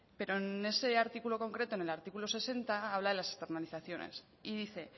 pero en ese artículo concreto en el artículo sesenta habla de las externalizaciones y dice